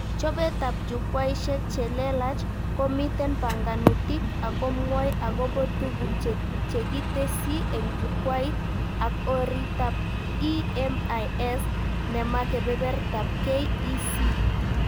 Chobetab Jukwaishek chelelach, komiten banganutik akomwoi akobo tuguk chekitesyi en Jukwait ak oritab EMIS, nema kebebertaab KEC